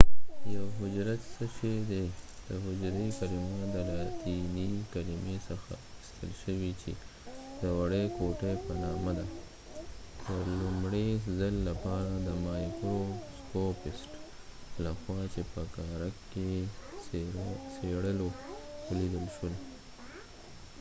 یوه حجره څه شي دي د حجری کلمه د لاتینی کلمی څخه اخستل شوي چې د وړی کوټی په نامه ده د لومړۍ ځل لپاره د مایکروسکوپسټ له خوا چې په کارک یې څیړلو ولیدل شوه